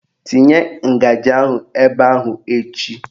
Tinye ngaji ahụ ebe ahụ echi!